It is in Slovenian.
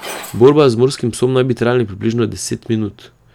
Borba z morskim psom naj bi trajala približno deset minut.